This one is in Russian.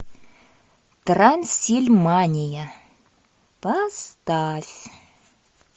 трансильмания поставь